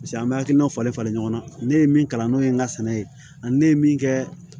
paseke an be hakilina falen falen ɲɔgɔn na ne ye min kalan n'o ye n ka sɛnɛ ye ani ne ye min kɛ